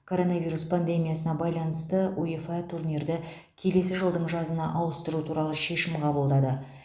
коронавирус пандемиясына байланысты уефа турнирді келесі жылдың жазына ауыстыру туралы шешім қабылдады